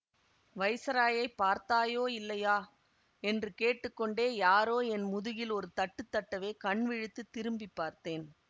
வைஸராயைப் பார்த்தாயோ இல்லையா என்று கேட்டு கொண்டே யாரோ என் முதுகில் ஒரு தட்டு தட்டவே கண் விழித்துத் திரும்பி பார்த்தேன்